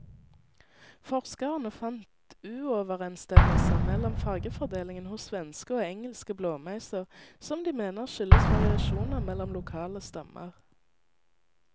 Forskerne fant uoverensstemmelser mellom fargefordelingen hos svenske og engelske blåmeiser, som de mener skyldes variasjoner mellom lokale stammer.